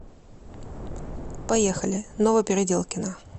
поехали новопеределкино